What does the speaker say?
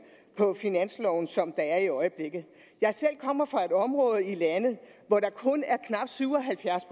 på finansloven som der er i øjeblikket jeg selv kommer fra et område i landet hvor der kun er knap syv og halvfjerds